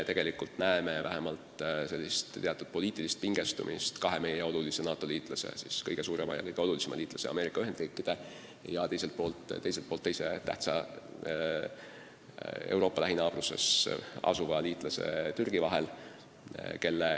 Tegelikult me näeme sellist teatud poliitilist pingestumist kahe kõige suurema ja kõige olulisema NATO liikme, Ameerika Ühendriikide ja Türgi vahel.